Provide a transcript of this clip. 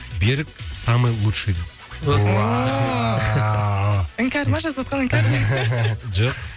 берік самый лучший ооо іңкәр ма жазыватқан іңкәр жоқ